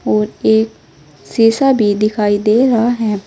और एक शीशा भी दिखाई दे रहा है।